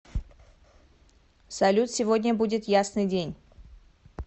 салют сегодня будет ясный день